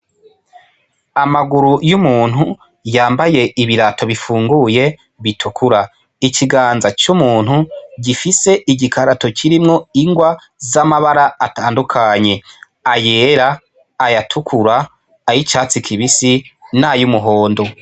Amaguru y'umuntu yambaye ibirato bifunguye bitukura ikiganza c'umuntu gifise igikarato kirimwo ingwa z'amabara atandukanye ay'era aya tukura ay'icatsi kibisi nay'umuhondo.